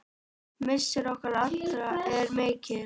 Missir okkar allra er mikill.